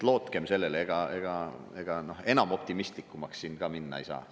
Lootkem sellele, ega enam optimistlikumaks siin minna ei saa.